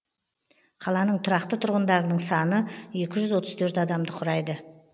қаланың тұрақты тұрғындарының саны екі жүз отыз төрт адамды құрайды